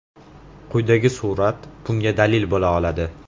Quyidagi surat bunga dalil bo‘la oladi.